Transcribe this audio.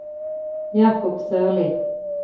Jacob Sørli